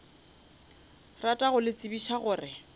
rata go le tsebiša gore